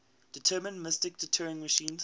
deterministic turing machine